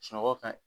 Sunɔgɔ ka ɲi